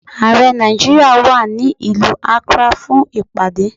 Ààrẹ Nàìjíríà wà ní ìlú Akrá fún ìpàdé.